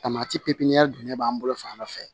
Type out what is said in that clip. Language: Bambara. Tamati pepiniyɛri dun de b'an bolo fan dɔ fɛ